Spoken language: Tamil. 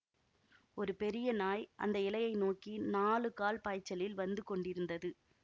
ஒரு பெரிய நாய் அந்த இலையை நோக்கி நாலு கால் பாய்ச்சலில் வந்து கொண்டிருந்தது